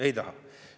Ei taha.